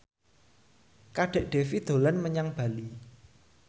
Kadek Devi dolan menyang Bali